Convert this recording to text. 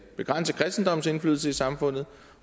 begrænse kristendommens indflydelse i samfundet